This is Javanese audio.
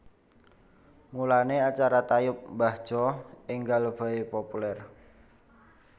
Mulane acara tayub mbah Jo enggal bae populer